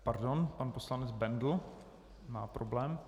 Pardon, pan poslanec Bendl má problém.